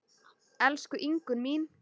Elsku Ingunn mín.